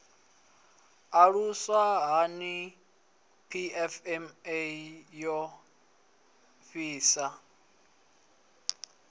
aluswa hani pfma yo ḓisa